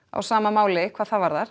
á sama máli hvað það varðar